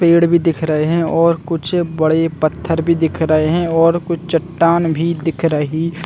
--पेड़ भी दिख रहे है और कुछ बड़े पत्थर भी दिख रहे है और कुछ चट्टान भी दिख रही--